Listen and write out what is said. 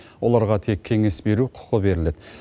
оларға тек кеңес беру құқы беріледі